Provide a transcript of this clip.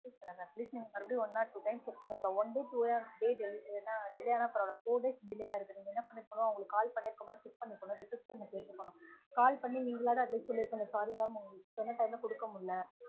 atleast நீங்க atleast நீங்க வந்து two or times check பன்ணிருக்கனும் one day delay ஆன பரவாயில்ல four days delay ஆகிருக்குதுனா நீங்க என்ன பண்ணிருக்கனும் அவங்களுக்கு call பண்ணிருக்கனு check பண்ணிருக்கனு receptionist அ சொல்லிருக்கனும் call பண்ணி நீங்கலாவது atleast சொல்லிருக்கனும் sorry mam உங்களுக்கு சொன்ன time ல கொடுக்கமுடியல